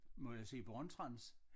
Må jeg sige Born-Trans?